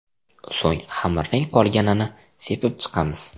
So‘ng xamirning qolganini sepib chiqamiz.